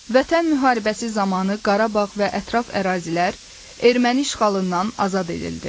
Vətən müharibəsi zamanı Qarabağ və ətraf ərazilər erməni işğalından azad edildi.